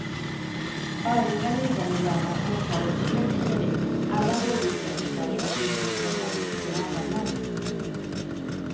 Övriga ligamedlemmar åtalas för grovt häleri. Alla hårddiskar förstörs för att inte informationen ska kunna användas.